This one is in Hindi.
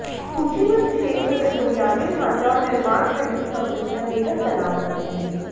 सूचीबद्ध क्षेत्र में बुनियादी ढांचा और निर्माण खंड की कंपनियां बेहद तनाव में हैं